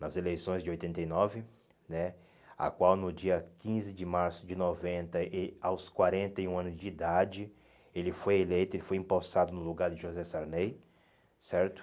nas eleições de oitenta e nove né, a qual no dia quinze de março de noventa, e aos quarenta e um anos de idade, ele foi eleito, ele foi empossado no lugar de José Sarney, certo?